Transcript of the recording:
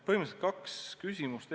Põhimõtteliselt kaks küsimust.